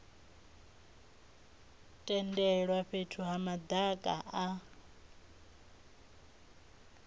tendelwa fhethu ha madaka a